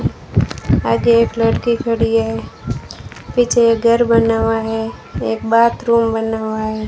आगे एक लड़की खड़ी है पीछे एक घर बना हुआ है एक बाथरूम बना हुआ है।